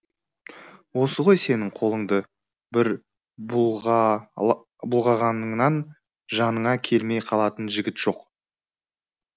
осы ғой сенің қолыңды бір бұлғағаныңнан жаныңа келмей қалатын жігіт жоқ